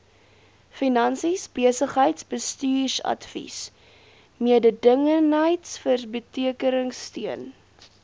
finansies besigheidsbestuursadvies mededingendheidsverbeteringsteun